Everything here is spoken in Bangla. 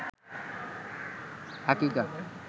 আকিকা